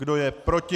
Kdo je proti?